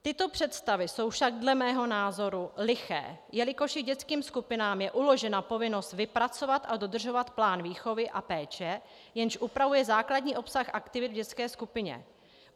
Tyto představy jsou však dle mého názoru liché, jelikož i dětským skupinám je uložena povinnost vypracovat a dodržovat plán výchovy a péče, jenž upravuje základní obsah aktivit v dětské skupině.